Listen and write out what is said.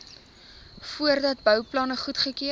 voordat bouplanne goedgekeur